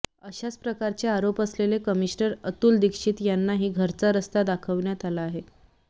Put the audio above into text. अशाच प्रकारचे आरोप असलेले कमिनशनर अतुल दीक्षित यांनाही घरचा रस्ता दाखवण्यात आला आहे